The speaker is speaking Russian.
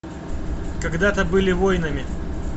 когда то были воинами